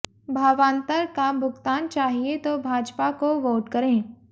भावांतर का भुगतान चाहिए तो भाजपा को वोट करें